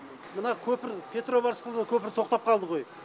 мына көпір петрова рысқұлова көпірі тоқтап қалды ғой